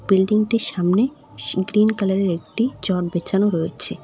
বিল্ডিংটির সামনে sea green কালারের একটি চট বেছানো রয়েছে।